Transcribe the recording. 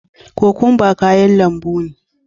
Cocumba kayan lambu ne.